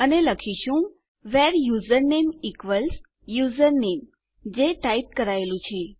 અને આપણે લખીશું વ્હેરે યુઝરનેમ ઇક્વલ્સ યુઝરનેમ જે ટાઈપ કરાયેલું છે